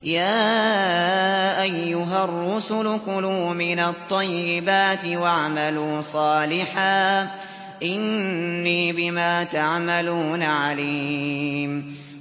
يَا أَيُّهَا الرُّسُلُ كُلُوا مِنَ الطَّيِّبَاتِ وَاعْمَلُوا صَالِحًا ۖ إِنِّي بِمَا تَعْمَلُونَ عَلِيمٌ